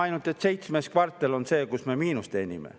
Ainult et seitse kvartalit oleme me miinust teeninud.